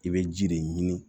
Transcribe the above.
I bɛ ji de ɲini